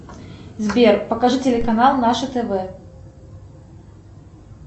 сбер покажи телеканал наше тв